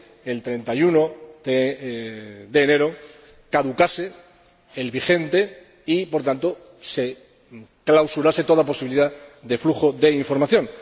el 31 de enero caducase el vigente y, por tanto, se anulara toda posibilidad de flujo de información.